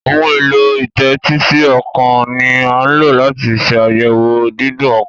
Ohun èlò ìtẹ́tísí ọkàn ní a lọ láti ṣ'ayẹwo Dídún ọkàn.